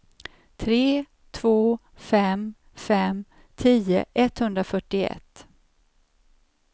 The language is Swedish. tre två fem fem tio etthundrafyrtioett